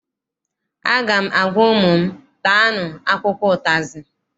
Aga m agwa ụmụ m, taanụ akwụkwọ ụtazị!